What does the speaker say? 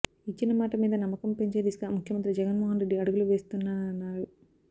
ఇచ్చిన మాట మీద నమ్మకం పెంచే దిశగా ముఖ్యమంత్రి జగన్మోహన్రెడ్డి అడుగులు వేస్తున్నారన్నారు